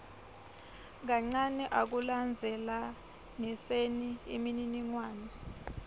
kancane ekulandzelaniseni imininingwane